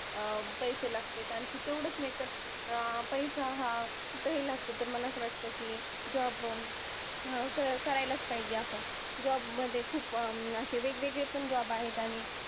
अं पैसे लागते. आणखी तेवढंच नाही तर अं पैसा हा कुठंही लागतं तर मला असं वाटतं की job करायलाच पाहिजे आपण. job मध्ये खूप असे वेगवेगळे पण job आहेत.